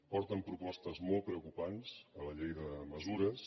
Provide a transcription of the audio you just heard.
porten propostes molt preocupants a la llei de mesures